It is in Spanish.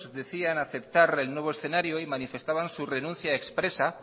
decían aceptar el nuevo escenario y manifestaban su renuncia expresa